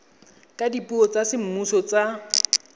ka dipuo tsa semmuso tsa